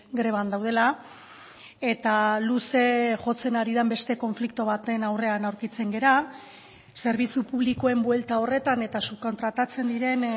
greban daudela eta luze jotzen ari den beste konflikto baten aurrean aurkitzen gara zerbitzu publikoen buelta horretan eta subkontratatzen diren